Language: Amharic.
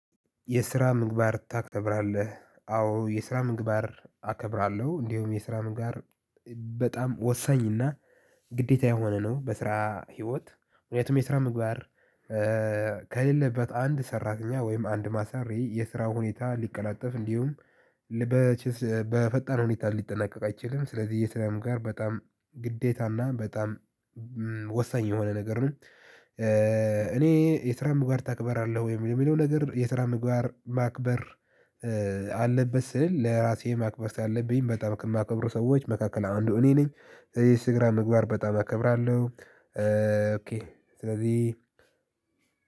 የስራ ምግባር ታከብራለህ? አዎ የስራ ምግባር አከብራለሁ። እንዲሁም የስራ ምግባር በጣም ወሳኝና ግዴታ የሆነ ነው። በስራ ህይወት ምክንያቱም የስራ ምግባር ከሌለበት አንድ ሰራተኛ ወይም አንድ አሰሪ የስራ ሁኔታ እንዲቀላጠፍ እንዲሁም በፈጠነ ሁኔታ ሊጠናቀቅ አይችልም ስለዚህ የስራ ምግባር በጣም ግዴታና በጣም ወሳኝ የሆነ ነገር ነው እኔ የስራጰምግባር ታከብራለህ ወይ የሚለው ነገር የስራ ምግባር ማክበር አለበት ስል ለራሴ ማክበር ያለብኝ በጣም ከማከብሩ ሰዎች መካከል አንዱ እኔ ነኝ የስራ ምግባር በጣም አከብራለሁ ኦኬ ስለዚህ